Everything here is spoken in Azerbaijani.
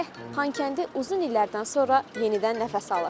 Xankəndi uzun illərdən sonra yenidən nəfəs alır.